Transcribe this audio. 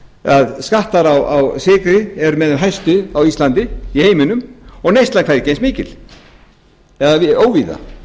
að skattar á sykri eru með þeim hæstu á íslandi í heiminum og neyslan hvergi eins mikil eða óvíða